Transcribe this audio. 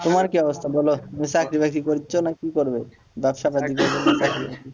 তোমার কি অবস্থা বল চাকরি-বাকরি করেছ না কি করবে ব্যবসাপাতি করবে না চাকরি বাকরি করবে?